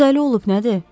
O dəli olub nədir?